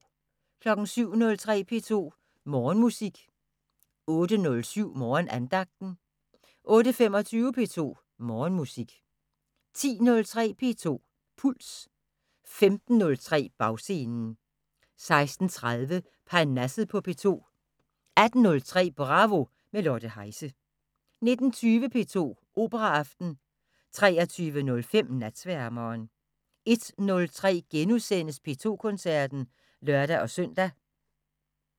07:03: P2 Morgenmusik 08:07: Morgenandagten 08:25: P2 Morgenmusik 10:03: P2 Puls 15:03: Bagscenen 16:30: Parnasset på P2 18:03: Bravo – med Lotte Heise 19:20: P2 Operaaften 23:05: Natsværmeren 01:03: P2 Koncerten *(lør-søn)